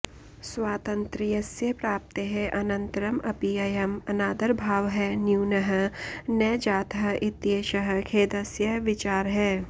स्वातन्त्र्यस्य प्राप्तेः अनन्तरम् अपि अयम् अनादरभावः न्यूनः न जातः इत्येषः खेदस्य विचारः